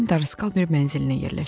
Qardaskal bir mənzilinə yerləşdim.